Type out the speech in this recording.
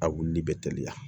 A wulili bɛ teliya